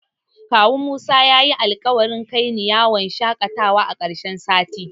Kawun Musa yayi alƙawari kaini yawon shaƙatawa a ƙarshen sati.